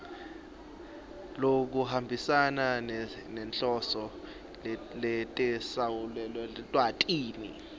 lokuhambisana nenhloso netetsamelilwati